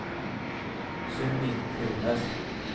Sylvi Furnes